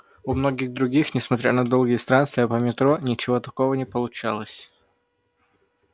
у многих других несмотря на долгие странствия по метро ничего такого не получалось